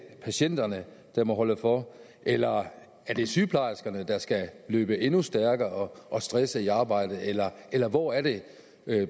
patienterne der må holde for eller er det sygeplejerskerne der skal løbe endnu stærkere og stresse i arbejdet eller eller hvor er det